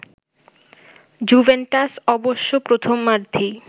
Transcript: Juventus অবশ্য প্রথমার্ধেই